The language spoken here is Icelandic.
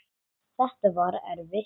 Þetta var erfitt.